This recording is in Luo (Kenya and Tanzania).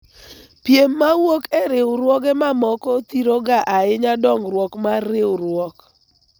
piem mowuok e riwruoge mamoko thiro ga ahinya dongruok mar riwruok